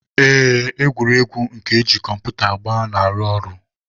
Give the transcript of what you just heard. Ee, egwuregwu nke eji kọmputa agba na-arụ ọrụ.